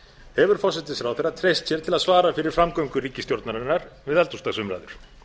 hefur forsætisráðherra treyst sér til að svara fyrir framgöngu ríkisstjórnarinnar við eldhúsdagsumræður